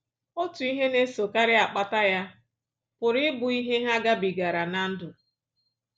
Otu ihe na-esokarị akpata ya pụrụ ịbụ ihe ha gabigara ná ndụ